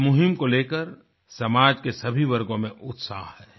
इस मुहीम को लेकर समाज के सभी वर्गों में उत्साह है